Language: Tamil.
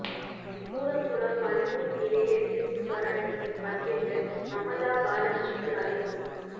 கூடங்குளம் அணுமின் நிலைய எதிர்ப்பு போராட்டத்தில் பங்கேற்க மமதா பானர்ஜிக்கு அழைப்பு